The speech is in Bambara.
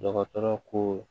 Dɔgɔtɔrɔ ko